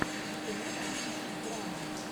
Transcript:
ты можешь включить драму